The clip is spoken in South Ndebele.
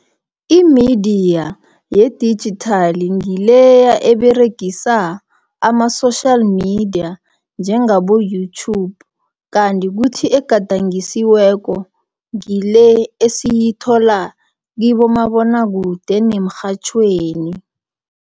Imidiya yedigithali, ngileya eberegisa, ama-social media, njengabo YouTube. Kanti kuthi egadangisiweko ngile esiyithola kibomabonakude nemirhatjhweni.